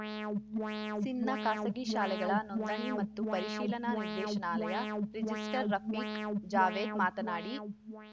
ಸಿಂಧ್‌ನ ಖಾಸಗಿ ಶಾಲೆಗಳ ನೋಂದಣಿ ಮತ್ತು ಪರಿಶೀಲನಾ ನಿರ್ದೇಶನಾಲಯ ರಿಜಿಸ್ಟರ್‌ ರಫಿಕ್‌ ಜಾವೇದ್‌ ಮಾತನಾಡಿ